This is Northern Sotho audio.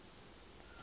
yona e be e šetše